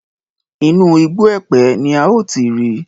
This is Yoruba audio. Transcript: Inú igbó Ẹ̀pẹ́ ni a ó ti rí.